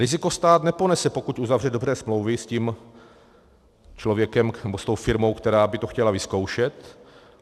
Riziko stát neponese, pokud uzavře dobré smlouvy s tím člověkem, nebo s tou firmou, která by to chtěla vyzkoušet.